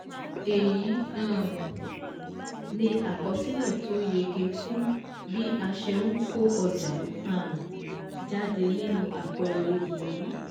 Èyí um ni àkọsílẹ̀ tó yege fún bí a ṣe n kó ọjà um jáde nínú àpẹẹrẹ yìí